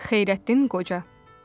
Xeyrəddin Qoca.